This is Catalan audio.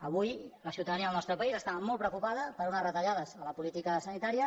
avui la ciutadania del nostre país està molt preocupa·da per unes retallades a la política sanitària